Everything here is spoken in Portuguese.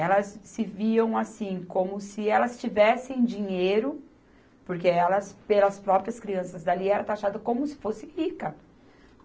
Elas se viam assim, como se elas tivessem dinheiro, porque elas, pelas próprias crianças dali, eram taxadas como se fossem ricas.